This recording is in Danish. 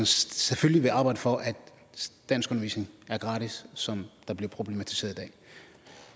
selvfølgelig vil arbejde for at danskundervisningen er gratis som der bliver problematiseret